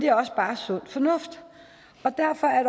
er også bare sund fornuft derfor er